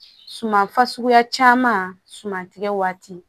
Suman fasuguya caman suman tɛ waati